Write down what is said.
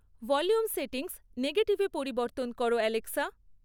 volume settings নেগেটিভে পরিবর্তন করো অ্যালেক্সা